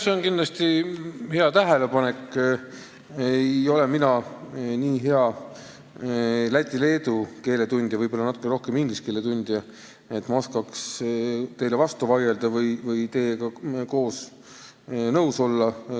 See on hea tähelepanek, aga mina ei ole nii hea läti ega leedu keele tundja – võib-olla natukene rohkem inglise keele tundja –, et ma oskaks teile vastu vaielda või teiega nõus olla.